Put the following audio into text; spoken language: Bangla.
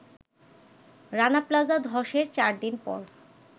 রানা প্লাজা ধসের চার দিন পর